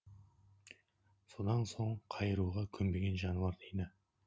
содан соң қайыруға көнбеген жануар дейді